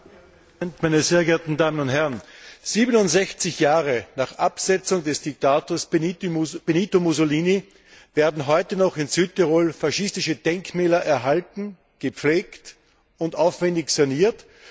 Herr Präsident, meine sehr geehrten Damen und Herren! 67 Jahre nach Absetzung des Diktators Benito Mussolini werden heute noch in Südtirol faschistische Denkmäler erhalten, gepflegt und aufwendig saniert.